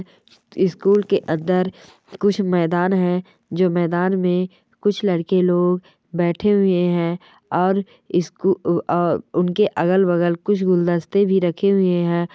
School के अंदर कुछ मैदान हैं। जो मैदान में कुछ लड़के लोग बैठे हुए हैं और इस्कू अ ओ उनके अगल बगल कुछ गुलदस्ते भी रखे हुए हैं।